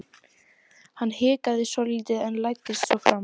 Hann hikaði svolítið en læddist svo fram.